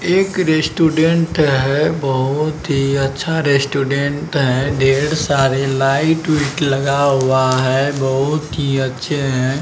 एक रेस्टोरेंट हे बोहोत ही अच्छा रेस्टोरेंट हैंढेर सारी लाइट विट लगा हुआ हे बोहोत ही अच्छे हे।